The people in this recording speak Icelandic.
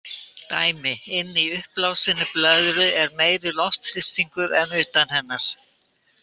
Dæmi: Inni í uppblásinni blöðru er meiri loftþrýstingur en utan hennar.